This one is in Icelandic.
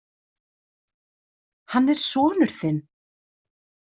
Hann er sonur þinn.